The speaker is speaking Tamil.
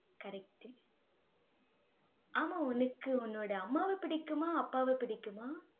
correct ஆமா உனக்கு உன்னோட அம்மாவ பிடிக்குமா? அப்பாவை பிடிக்குமா?